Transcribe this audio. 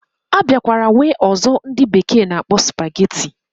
Abiakwara nwe ozo ndi bekee na akpo spaghetti.